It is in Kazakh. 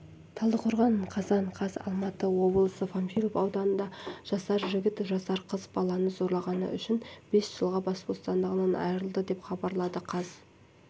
талдықорған қазан қаз алматы облысы панфилов ауданында жасар жігіт жасар қыз баланы зорлағаны үшін жылға бас бостандығынан айырылды деп хабарлады қаз